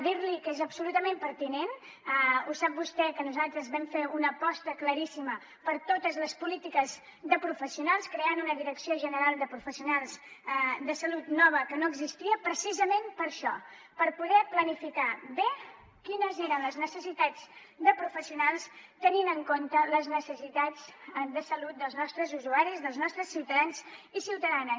dir li que és absolutament pertinent ho sap vostè que nosaltres vam fer una aposta claríssima per totes les polítiques de professionals creant una direcció general de professionals de salut nova que no existia precisament per això per poder planificar bé quines eren les necessitats de professionals tenint en compte les necessitats de salut dels nostres usuaris dels nostres ciutadans i ciutadanes